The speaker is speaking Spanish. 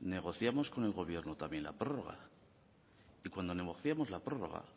negociamos con el gobierno también la prórroga y cuando negociamos la prórroga